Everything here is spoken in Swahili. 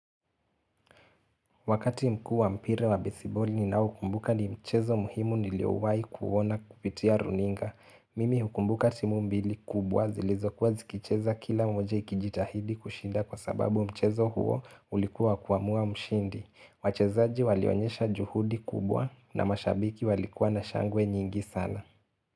Wakati mkuu wa mpira wa besiboli ninaokumbuka ni mchezo muhimu niliowaikuona kupitia runinga. Mimi hukumbuka timu mbili kubwa zilizokuwa zikicheza kila mmoja ikijitahidi kushinda kwa sababu mchezo huo ulikuwa kuamua mshindi. Wachezaji walionyesha juhudi kubwa na mashabiki walikuwa na shangwe nyingi sana.